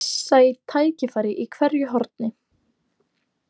Sæi tækifæri í hverju horni.